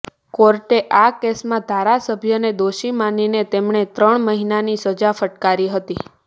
કોર્ટે આ કેસમાં ધારાસભ્યને દોષી માનીને તેમને ત્રણ મહિનાની સજા ફટકારી હતી